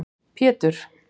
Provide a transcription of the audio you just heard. Pétur